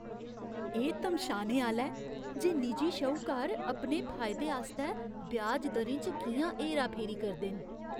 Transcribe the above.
एह् तमशाने आह्‌ला ऐ जे निजी श्हूकार अपने फायदे आस्तै ब्याज दरें च कि'यां हेराफेरी करदे न।